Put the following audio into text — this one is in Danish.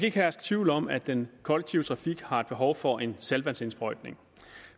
ikke herske tvivl om at den kollektive trafik har et behov for en saltvandsindsprøjtning